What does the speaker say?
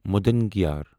مُدنگیار